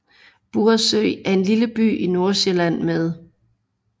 Buresø er en lille by i Nordsjælland med